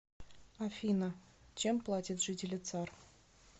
афина чем платят жители цар